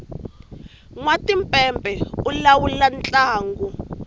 nwatimpepe u lawula ntlangu